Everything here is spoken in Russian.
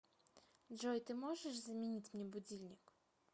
джой ты можешь заменить мне будильник